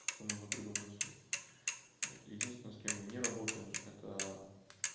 как-то можно придумать себе вот единственный с кем мы не работаем это